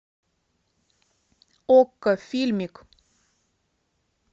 окко фильмик